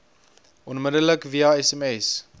onmiddellik via sms